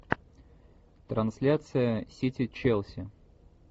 трансляция сити челси